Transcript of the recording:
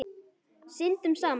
Syndum saman.